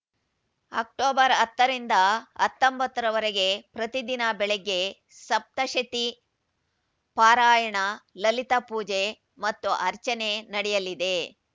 October ಹತ್ತರಿಂದ ಹತ್ತೊಂಬತ್ತರವರೆಗೆ ಪ್ರತಿದಿನ ಬೆಳಗ್ಗೆ ಸಪ್ತಶತೀ ಪಾರಾಯಣ ಲಲಿತಾ ಪೂಜೆ ಮತ್ತು ಅರ್ಚನೆ ನಡೆಯಲಿದೆ